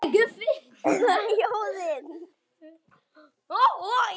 Það væri mjög erfitt.